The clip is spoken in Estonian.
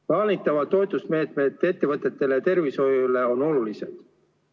Plaanitavad toetusmeetmed ettevõtetele ja tervishoiule on olulised.